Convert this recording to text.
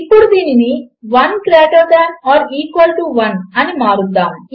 ఇప్పుడు దీనిని 1 greater than or equal to 1 అని మార్చుదాము